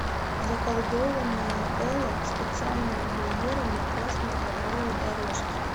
заколдованная элла специальная премьера на красной ковровой дорожке